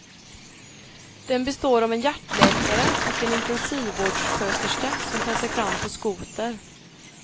Den består av en hjärtläkare och en intensivvårdssköterska som tar sig fram på skoter.